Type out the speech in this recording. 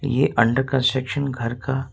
ये under construction घर का--